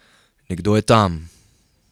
Nekdo je tam!